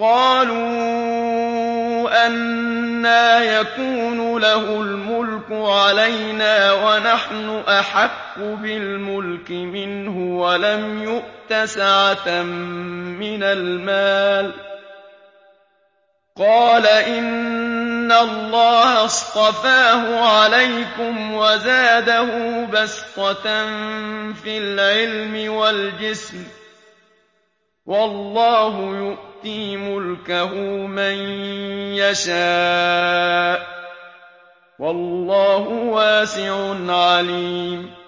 قَالُوا أَنَّىٰ يَكُونُ لَهُ الْمُلْكُ عَلَيْنَا وَنَحْنُ أَحَقُّ بِالْمُلْكِ مِنْهُ وَلَمْ يُؤْتَ سَعَةً مِّنَ الْمَالِ ۚ قَالَ إِنَّ اللَّهَ اصْطَفَاهُ عَلَيْكُمْ وَزَادَهُ بَسْطَةً فِي الْعِلْمِ وَالْجِسْمِ ۖ وَاللَّهُ يُؤْتِي مُلْكَهُ مَن يَشَاءُ ۚ وَاللَّهُ وَاسِعٌ عَلِيمٌ